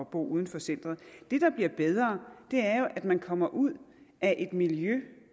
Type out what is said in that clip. bo uden for centeret det der bliver bedre er jo at man kommer ud af et miljø